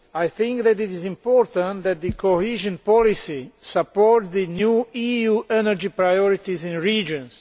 I think that it is important that the cohesion policy supports the new EU energy priorities in regions.